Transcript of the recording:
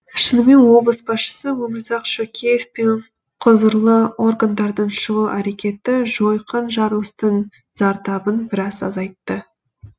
шынымен облыс басшысы өмірзақ шөкеев пен құзырлы органдардың шұғыл әрекеті жойқын жарылыстың зардабын біраз азайтты